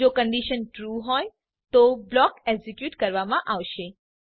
જો condition true હોય તો બ્લોક એક્ઝીક્યુટ કરવામાં આવશે